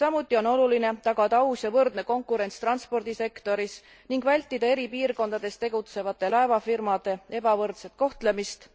Samuti on oluline tagada aus ja võrdne konkurents transpordisektoris ning vältida eri piirkondades tegutsevate laevafirmade ebavõrdset kohtlemist.